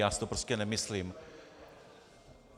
Já si to prostě nemyslím.